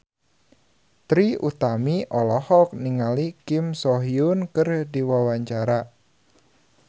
Trie Utami olohok ningali Kim So Hyun keur diwawancara